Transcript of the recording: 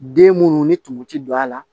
Den munnu ni tumu ti don a la